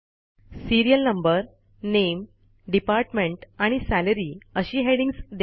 serial number नामे department आणि salary अशी हेडिंग्ज द्या